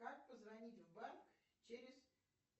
как позвонить в банк через